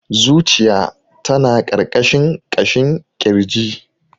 Zuciya ta na ƙarƙashin ƙashin kirji.